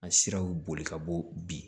A siraw boli ka bɔ bi